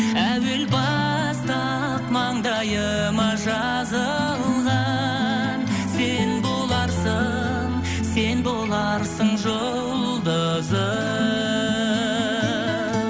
әуел баста мандайыма жазылған сен боларсың сен боларсың жұлдызым